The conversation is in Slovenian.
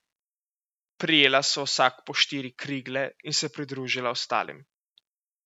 Prijela sva vsak po štiri krigle in se pridružila ostalim.